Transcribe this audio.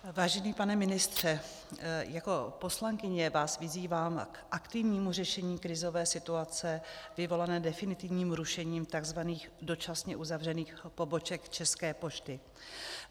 Vážený pane ministře, jako poslankyně vás vyzývám k aktivnímu řešení krizové situace vyvolané definitivním rušením tzv. dočasně uzavřených poboček České pošty.